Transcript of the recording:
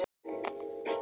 Það má segja það